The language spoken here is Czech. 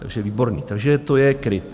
Takže výborné, takže to je KRIT.